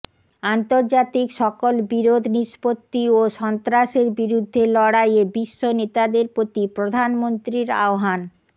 আন্তর্জাতিক সকল বিরোধ নিষ্পত্তি ও সন্ত্রাসের বিরুদ্ধে লড়াইয়ে বিশ্ব নেতাদের প্রতি প্রধানমন্ত্রীর আহ্বান